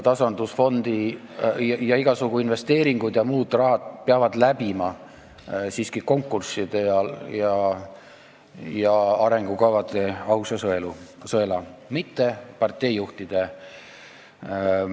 Ja igasugused investeeringud ja muude rahade eraldamised peavad siiski käima läbi konkursside, läbima arengukavade arutelu ausa sõela, mitte parteijuhtide suva sõela.